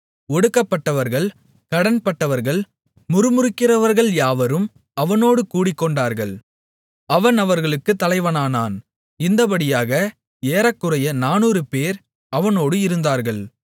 ஒடுக்கப்பட்டவர்கள் கடன்பட்டவர்கள் முறுமுறுக்கிறவர்கள் யாவரும் அவனோடு கூடிக்கொண்டார்கள் அவன் அவர்களுக்குத் தலைவனானான் இந்தப் படியாக ஏறக்குறைய 400 பேர் அவனோடு இருந்தார்கள்